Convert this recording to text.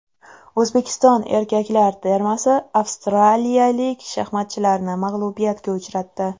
O‘zbekiston erkaklar termasi avstraliyalik shaxmatchilarni mag‘lubiyatga uchratdi.